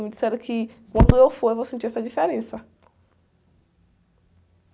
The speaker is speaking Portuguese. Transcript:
Me disseram que quando eu for eu vou sentir essa diferença.